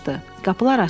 Qapılar açıldı.